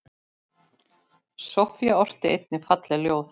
Soffía orti einnig falleg ljóð.